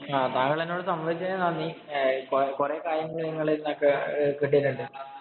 താങ്കള്‍ എന്നോട് സംവദിച്ചതിനോട് നന്ദി. കൊറേ കാര്യങ്ങള്‍ നിങ്ങളീന്നു ഒക്കെ കിട്ടിയിട്ടുണ്ട്.